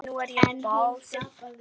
Nú er ég bölsýn.